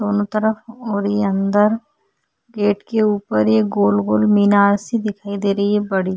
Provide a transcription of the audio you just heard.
दोनों तरफ मोड़ी अन्दर गेट के ऊपर ये गोल - गोल मीनार सी दिखाई दे रही है बड़ी --